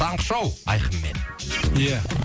таңғы шоу айқынмен ия